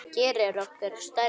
Það gerði okkur stærri.